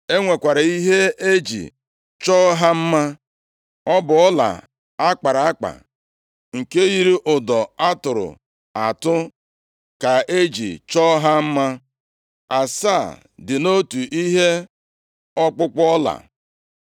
E nwekwara ihe e ji chọọ ha mma. Ọ bụ ọla akpara akpa, nke yiri ụdọ a tụrụ atụ ka e ji chọọ ha mma. Asaa dị nʼotu ihe ọkpụkpụ ọla.